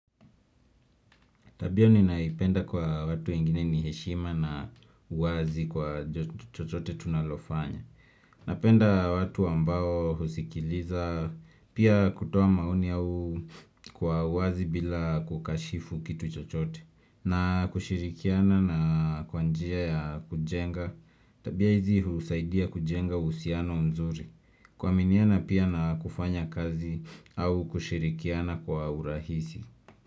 Tabia ninaipenda kwa watu wengine ni heshima na uwazi kwa chochote tunalofanya Napenda watu ambao husikiliza pia kutoa maoni au kwa uwazi bila kukashifu kitu chochote na kushirikiana na kwa njia ya kujenga Tabia hizi husaidia kujenga uhusiano mzuri kuaminiana pia na kufanya kazi au kushirikiana kwa urahisi.